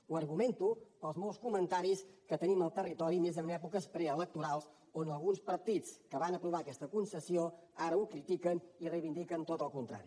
ho argumento pels molts comentaris que tenim al territori més en èpoques preelectorals on alguns partits que van aprovar aquesta concessió ara ho critiquen i reivindiquen tot el contrari